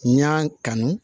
N y'a kanu